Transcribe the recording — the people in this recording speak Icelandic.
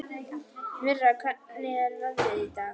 Mirra, hvernig er veðrið í dag?